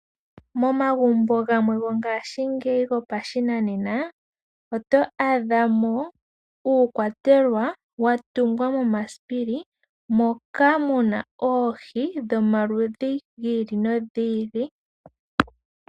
Momagumbo gamwe gongashingeyi gopashinanena oto adha mo uukwatelwa wa tungwa momasipili moka mu na oohi dhomaludhi g ili nogi ili.